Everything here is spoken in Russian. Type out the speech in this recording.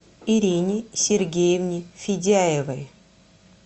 ирине сергеевне федяевой